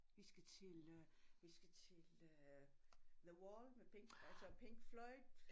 Vi skal til øh vi skal til øh The Wall med Pink altså Pink Floyd